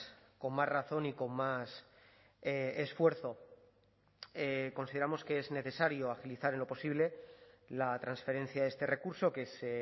con más razón y con más esfuerzo consideramos que es necesario agilizar en lo posible la transferencia de este recurso que es